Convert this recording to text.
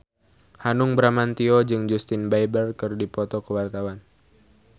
Hanung Bramantyo jeung Justin Beiber keur dipoto ku wartawan